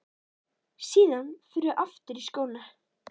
Síðan förum við aftur í skóna.